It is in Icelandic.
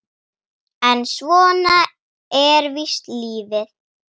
En svona er víst lífið.